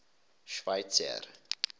schweizer